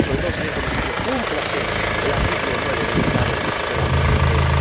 Pero, sobre todo, señor Comisario, ¡cúmplase el artículo 9 del Tratado de la Unión Europea!